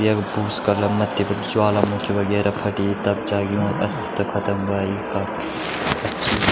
यख भूस्खलन मथ्थी बट ज्वालामुखी वगैरा फटी तब जाके यूँ अस्तित्व ख़तम वाई इका।